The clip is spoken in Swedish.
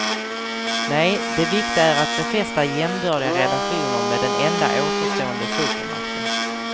Nej, det viktiga är att befästa jämbördiga relationer med den enda återstående supermakten.